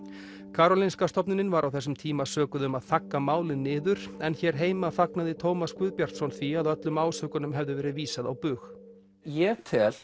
Karolinska stofnunin var á þessum tíma sökuð um að þagga málið niður en hér heima fagnaði Tómas Guðbjartsson því að öllum ásökunum hefði verið vísað á bug ég tel